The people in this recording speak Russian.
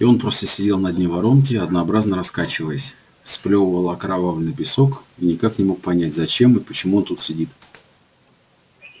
и он просто сидел на дне воронки однообразно раскачиваясь сплёвывал окровавленный песок и никак не мог понять зачем и почему он тут сидит